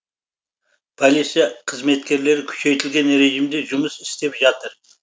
полиция қызметкерлері күшейтілген режимде жұмыс істеп жатыр